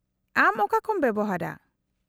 -ᱟᱢ ᱚᱠᱟᱠᱚᱢ ᱵᱮᱣᱦᱟᱨᱟ ?